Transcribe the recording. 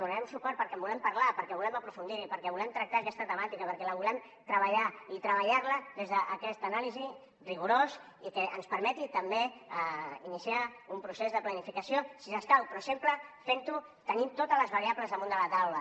hi donarem suport perquè en volem parlar perquè volem aprofundir hi perquè volem tractar aquesta temàtica perquè la volem treballar i treballar la des d’aquesta anàlisi rigorosa i que ens permeti també iniciar un procés de planificació si escau però sempre fent ho tenint totes les variables damunt de la taula